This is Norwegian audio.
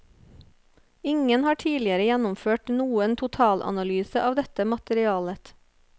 Ingen har tidligere gjennomført noen totalanalyse av dette materialet.